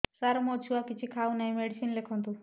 ସାର ମୋ ଛୁଆ କିଛି ଖାଉ ନାହିଁ ମେଡିସିନ ଲେଖନ୍ତୁ